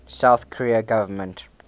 south korean government